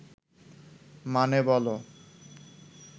মানে, বলো